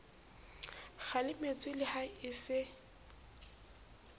kgalemetswe le ha e se